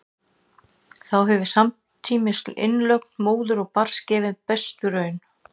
þá hefur samtímis innlögn móður og barns gefið besta raun